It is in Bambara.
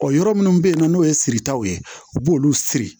yɔrɔ minnu bɛ yen nɔ n'o ye siritaw ye u b'olu siri